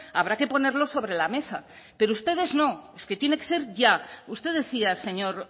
habrá que ponerlo sobre la mesa pero ustedes no es que tiene que ser ya usted decía señor